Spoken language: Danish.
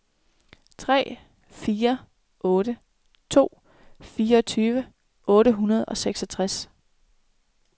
tre fire otte to fireogtyve otte hundrede og seksogtres